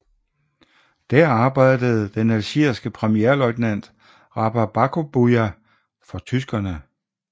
Der arbejdede den algierske premierløjtnant Rabah Būkabūya for tyskerne